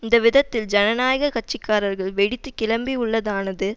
இந்த விதத்தில் ஜனநாயக கட்சி காரர்கள் வெடித்து கிளம்பியுள்ளதானது